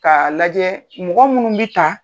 K'a lajɛ mɔgɔ minnu bi tan